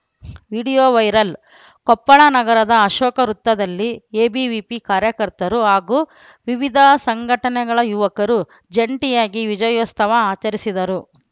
video viral Koppal ನಗರದ ಅಶೋಕ ವೃತ್ತದಲ್ಲಿ ABVP ಕಾರ್ಯಕರ್ತರು ಹಾಗೂ ವಿವಿಧ ಸಂಘಟನೆಗಳ ಯುವಕರು ಜಂಟಿಯಾಗಿ ವಿಜಯೋತ್ಸವ ಆಚರಿಸಿದರು